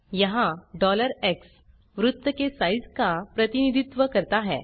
यहाँ x वृत्त के साइज का प्रतिनिधित्व करता है